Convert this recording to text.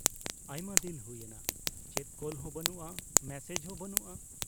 ᱟᱭᱢᱟ ᱫᱤᱱ ᱦᱩᱭ ᱮᱱᱟ, ᱪᱮᱫ ᱠᱚᱞ ᱦᱚᱸ ᱵᱟᱱᱩᱜᱼᱟ, ᱢᱮᱥᱮᱡ ᱦᱚᱸ ᱵᱟᱹᱱᱩᱜᱼᱟ ᱾